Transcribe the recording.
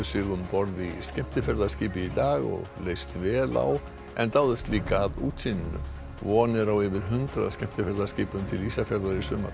sig um borð í skemmtiferðaskipi í dag og leist vel á en dáðust líka að útsýninu úr von er á yfir hundrað skemmtiferðaskipum til Ísafjarðar í sumar